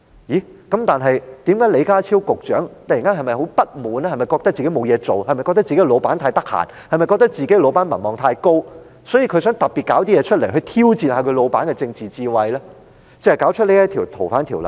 那麼，李家超局長是否突然感到很不滿，認為自己沒事可做，自己的上司太空閒、民望也太高，所以想要弄出一件事，提出修訂《條例》，來挑戰他上司的政治智慧呢？